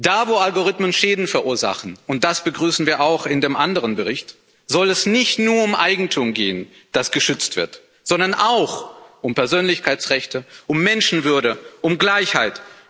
Da, wo Algorithmen Schäden verursachen und das begrüßen wir auch in dem anderen Bericht soll es nicht nur um Eigentum gehen, das geschützt wird, sondern auch um Persönlichkeitsrechte, um Menschenwürde, um Gleichheit.